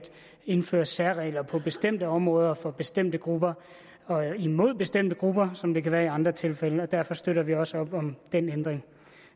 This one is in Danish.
indføre særregler på bestemte områder for bestemte grupper og imod bestemte grupper som det kan være i andre tilfælde og derfor støtter vi også op om den ændring